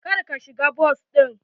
Kar ka shiga bas ɗin.